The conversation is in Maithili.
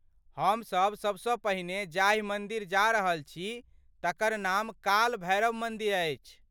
हम सब सबसँ पहिने जाहि मन्दिर जा रहल छी तकर नाम काल भैरव मन्दिर अछि।